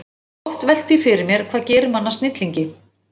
Ég hef oft velt því fyrir mér, hvað gerir mann að snillingi.